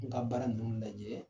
N ka baara ninnu lajɛ,